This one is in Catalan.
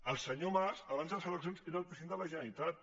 el senyor mas abans de les eleccions era el president de la generalitat